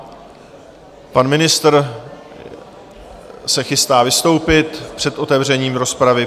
Pan ministr se chystá vystoupit před otevřením rozpravy.